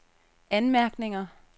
anmærkninger